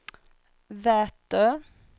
Vätö